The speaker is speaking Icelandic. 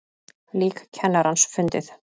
Lík kennarans fundið